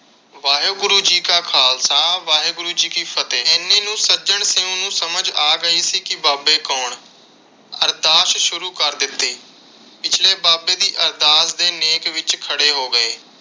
ਵਾਹਿਗੁਰੂ ਜੀ ਕਾ ਖ਼ਾਲਸਾ ਵਾਹਿਗੁਰੂ ਜੀ ਕੀ ਫਤਹਿ। ਇੰਨੇ ਨੂੰ ਸੱਜਣ ਸਿੰਘ ਨੂੰ ਸਮਝ ਗਈ ਸੀ ਕਿ ਬਾਬੇ ਕੌਣ। ਅਰਦਾਸ ਸ਼ੁਰੂ ਕਰ ਦਿੱਤੀ। ਪਿਛਲੇ ਬਾਬੇ ਦੀ ਅਰਦਾਸ ਦੇ ਨੇਕ ਵਿਚ ਖੜੇ ਹੋ ਗਏ।